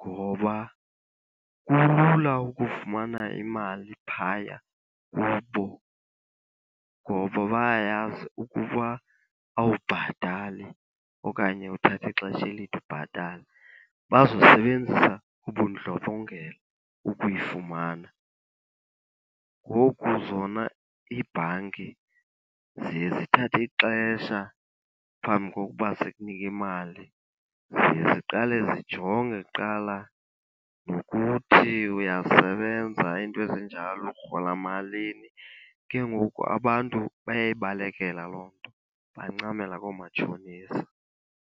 ngoba kulula ukufumana imali phaya kubo, ngoba bayayazi ukuba awubhatali okanye uthathe ixesha elide ubhatala, bazosebenzisa ubundlobongela ukuyifumana. Ngoku zona iibhanki ziye zithathe ixesha phambi kokuba zikunike imali. Ziye ziqale zijonge kuqala nokuthi uyasebenza iinto ezinjalo, urhola malini. Ke ngoku abantu bayayibalekela loo nto, bancamela koomatshonisa.